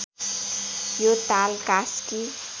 यो ताल कास्की